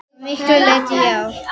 Að miklu leyti já.